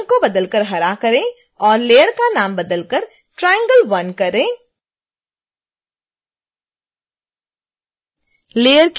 अब रंग को बदल कर हरा करें और लेयर का नाम बदल कर triangle1 करें